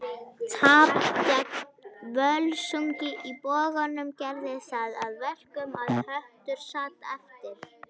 Tap gegn Völsungi í Boganum gerði það að verkum að Höttur sat eftir.